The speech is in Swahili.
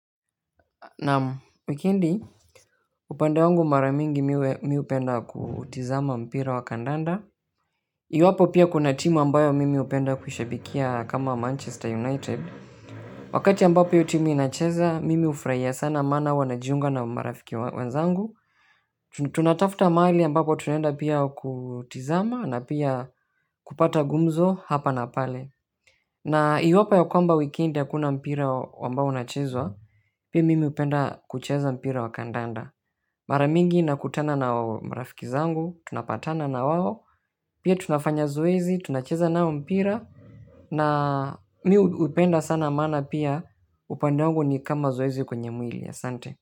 Naam, wikendi, upande wangu, mara nyingi mimi hupenda kutazama mpira wa kandanda. Iwapo pia kuna timu ambayo mimi hupenda kushabikia kama Manchester United. Wakati ambapo hiyo tumu inacheza mimi hufurahia sana maana huwa najiunga na marafiki wenzangu. Tunatafuta mahali ambapo tunaenda pia kutazama na pia kupata gumzo hapa na pale. Na iwapo ya kwamba wikendi hakuna mpira ambao unaochezwa, mimi pia hupenda kucheza mpira wa kandanda. Mara mingi ninakutana na marafiki zangu. Tunapatana na wao pia tunafanya zoezi tunacheza na wao mpira na mimi hupenda sana maana pia upande wangu ni kama zoezi kwenye mwili, asante.